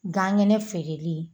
Gan ŋɛnɛ feereli